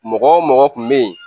Mɔgɔ wo mɔgɔ kun be yen